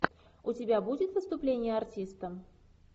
у тебя будет выступление артиста